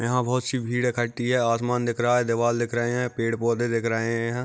यहाँ बहुत सी भीड़ इकठी है असमान दिख रहा है दीवार दिख रहे है पेड़-पौधे दिख रहे है।